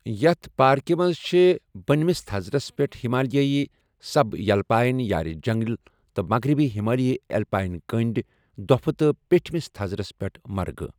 یِیٛتھ پاركہِ مَنٛز چِھ بٕنمِس تَھزرَس پٮ۪ٹھ ہِمالیایی سَب یلپایِن یارِ جَنٛگَل تہٕ مَغرِبی ہِمالیایی ایلپایِن کٔنٛڈۍ دۄپِھہٕ تہٕ پٮ۪ٹھِمِس تَھزرَس پٮ۪ٹھ مرگہٕ ۔